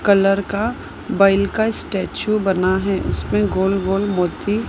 colour का बैल का स्टेचू बना है उसमें गोल गोल मोती--